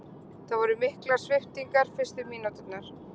Það voru miklar sviptingar fyrstu mínúturnar